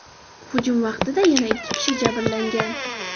Hujum vaqtida yana ikki kishi jabrlangan.